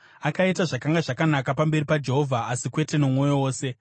Akaita zvakanga zvakanaka pamberi paJehovha, asi kwete nomwoyo wose.